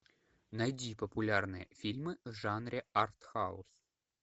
найди популярные фильмы в жанре артхаус